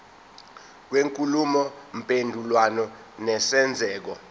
kwenkulumo mpendulwano nesenzeko